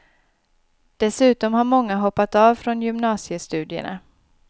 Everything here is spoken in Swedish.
Dessutom har många hoppat av från gymnasiestudierna.